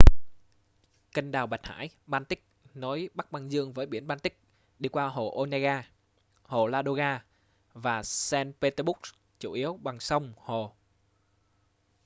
kênh đào bạch hải-baltic nối bắc băng dương với biển baltic đi qua hồ onega hồ ladoga và saint petersburg chủ yếu bằng sông hồ